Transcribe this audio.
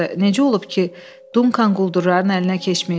Necə olub ki, Dunkan quldurların əlinə keçməyib.